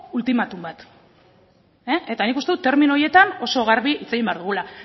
ultimatum bat eta nik uste dut termino horietan oso garbi hitz egin behar dugula